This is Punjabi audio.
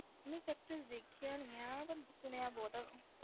ਨਹੀਂ factories ਦੇਖੀਆਂ ਨੀ ਹੈ ਪਰ ਸੁਣਿਆ ਬਹੁਤ ਹੈ।